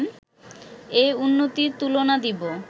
এ উন্নতির তুলনা দিব